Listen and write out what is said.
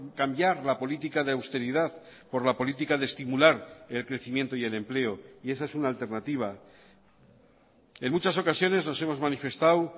cambiar la política de austeridad por la política de estimular el crecimiento y el empleo y esa es una alternativa en muchas ocasiones nos hemos manifestado